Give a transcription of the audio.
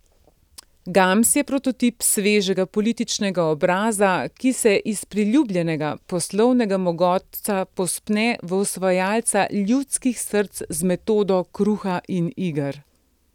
Gams je prototip svežega političnega obraza, ki se iz priljubljenega poslovnega mogotca povzpne v osvajalca ljudskih src z metodo kruha in iger.